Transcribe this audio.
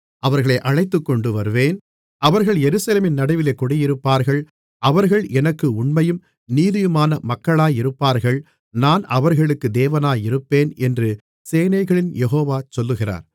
அவர்களை அழைத்துக்கொண்டு வருவேன் அவர்கள் எருசலேமின் நடுவிலே குடியிருப்பார்கள் அவர்கள் எனக்கு உண்மையும் நீதியுமான மக்களாயிருப்பார்கள் நான் அவர்களுக்கு தேவனாயிருப்பேன் என்று சேனைகளின் யெகோவா சொல்லுகிறார்